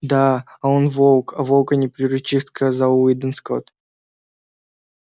да а он волк а волка не приручишь сказал уидон скотт